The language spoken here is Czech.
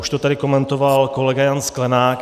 Už to tady komentoval kolega Jan Sklenák.